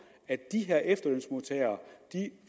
at de her efterlønsmodtagere